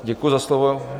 Děkuji za slovo.